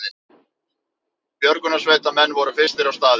Björgunarsveitarmenn voru fyrstir á staðinn